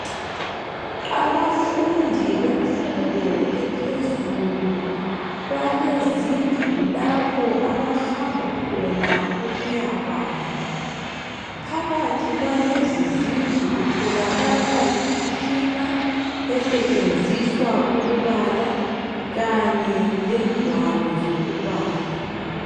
Abafundi bemfundo ephezulu balezindlu lapho abahamba khona ukuyabala phakathi kwalezi zindlu kutholakala imitshina esetshenziswa ukubala kanye legwalo zokubala.